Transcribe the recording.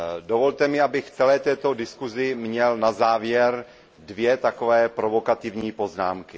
Dovolte mi, abych k celé této diskuzi měl na závěr dvě takové provokativní poznámky.